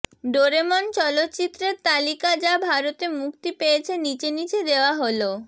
Doraemon চলচ্চিত্রের তালিকা যা ভারতে মুক্তি পেয়েছে নিচে নিচে দেওয়া হল